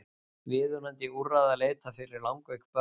Viðunandi úrræða leitað fyrir langveik börn